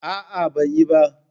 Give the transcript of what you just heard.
A'a, ban yi ba.